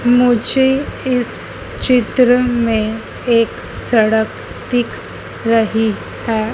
मुझे इस चित्र में एक सड़क दिख रही है।